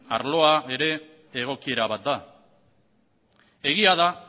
arloa ere egokiera bat da egia da